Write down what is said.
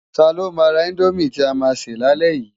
Tá ló má rá Indómi ti á má sè lálè yi?